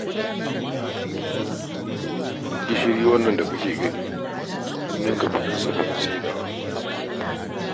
Gishiri wannan da ake gani an ninka kuɗinsa wajen saidawa